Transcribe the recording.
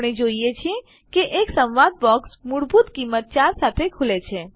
આપણે જોઈએ છીએ કે એક સંવાદ બોક્સ મૂળભૂત કિંમત ૪ સાથે ખુલે છે